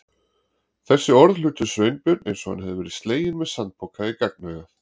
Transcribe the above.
Þessi orð hittu Sveinbjörn eins og hann hefði verið sleginn með sandpoka í gagnaugað.